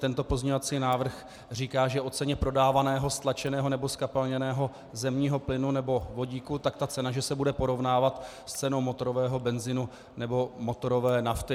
Tento pozměňovací návrh říká, že o ceně prodávaného stlačeného nebo zkapalněného zemního plynu nebo vodíku, tak ta cena že se bude porovnávat s cenou motorového benzinu nebo motorové nafty.